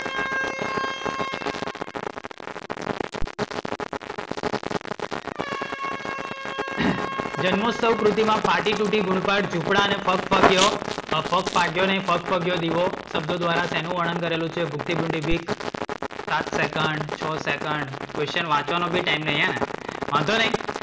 જન્મોસ્તવ કૃતિમાં ફાટી તૂટી ગુણ પાદ જુપડા ને ફગફગીઓ ફગ્ફાગીઓ નઇ ફગફગીઓ દીવો શબ્દો ધ્વારા શેનું વર્ણન કરેલું છે? સાત second, છ second, question વાંચવાનો બી ટાઇમ નહીં હેને? વાંધો નઇ,